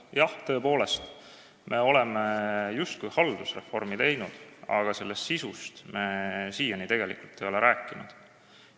Jah, tõepoolest, me oleme justkui haldusreformi teinud, aga sellest sisust me siiani tegelikult rääkinud ei ole.